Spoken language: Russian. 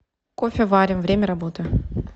кофеварим время работы